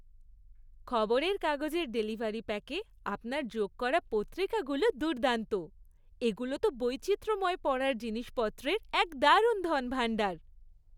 খবরের কাগজের ডেলিভারি প্যাকে আপনার যোগ করা পত্রিকাগুলো দুর্দান্ত। এগুলো তো বৈচিত্রময় পড়ার জিনিসপত্রের এক দারুণ ধনভাণ্ডার।